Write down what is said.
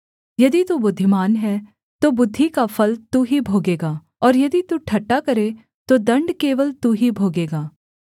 यदि तू बुद्धिमान है तो बुद्धि का फल तू ही भोगेगा और यदि तू ठट्ठा करे तो दण्ड केवल तू ही भोगेगा